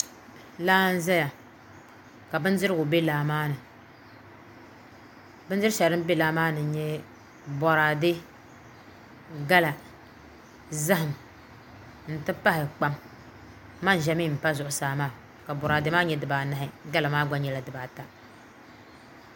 Laa n ʒɛya ka bindirigu bɛ laa maa ni bindiri shɛli din bɛ laa maa ni n nyɛ boraadɛ gala zaham n ti pahi kpam manʒa mii n pa zuɣusaa maa ka boraadɛ maa nyɛ dibaanahi gala maa gba nyɛla dibaata